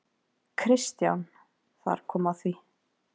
KRISTJÁN: Þar kom að því!